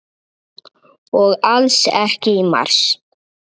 Og alls ekki í mars.